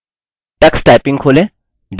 tux typing खोलें